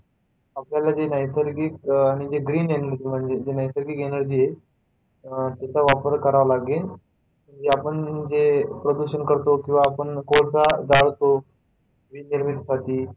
आपल्याला जे नैसर्गिक म्हणजे जे green energy जी नैसर्गिक energy आहे तिचा वापर करावा लागेल तरी आपण जे प्रदूषण करतो जे आपण कोळसा जाळतो वीज निर्मिती साठी,